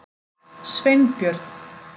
Sveinbjörn